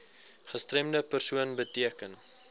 gestremde persoon beteken